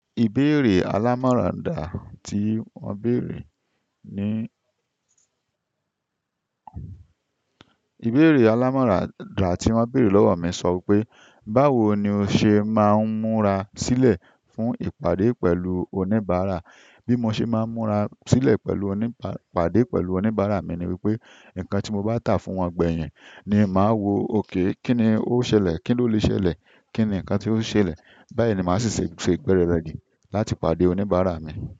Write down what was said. Ìbéèrè alámọ̀ràn dá tí won beere ni ìbéèrè alámọ̀rà dá tí wọ́n béèrè lọ́wọ́ mi sọ wi pé "Báwo ni o ṣe máa ń múra sílẹ̀ fún ìpàdé pẹ̀lú oníbàárà?" Bí mo ṣe máa ń múra sílẹ̀ pẹ̀lú oní-ìpàdé pẹ̀lú oníbàárà mi ni wípé, ǹkan tí mo bá tà fún wọn gbẹ̀yìn ni màá wo òkè, kíni ó ṣẹlẹ̀, kín ló lè ṣẹlẹ̀, kín ni ǹkan tí ó ṣẹlẹ̀. Bayi ni masi se se igbe aradi pẹ̀lú onibara mi.